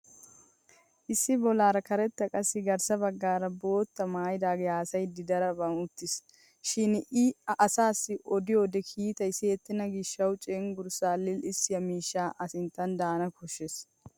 Issi bollaara karetta qassi garssa baggaara boottaa maayidagee haasayiiddi daraphphan uttis. Shin i asaassi odiyode kiitay siyettenna gishshawu cenggurssaa lil'issiyaa miishshay a sinttan daana koshshes.